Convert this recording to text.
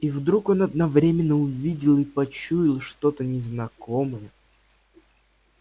и вдруг он одновременно увидел и почуял что-то незнакомое